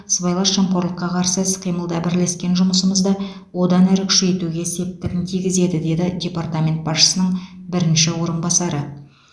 сыбайлас жемқорлыққа қарсы іс қимылда бірлескен жұмысымызды одан әрі күшейтуге септігін тигізеді деді департамент басшысының бірінші орынбасары